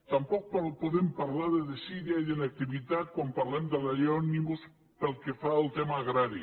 tampoc podem parlar de desídia i d’inactivitat quan parlem de la llei òmnibus pel que fa al tema agrari